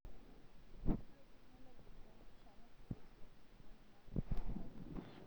Ore teknoji oo mpishain e setilait neingor ilachambai